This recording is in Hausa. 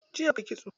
Jiya muka yi kitso.